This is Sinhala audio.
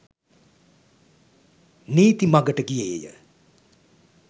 නීති මඟට ගියේය.